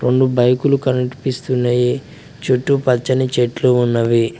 రొండు బైకులు కనిపిస్తున్నాయి చెట్టు పచ్చని చెట్లు ఉన్నవి.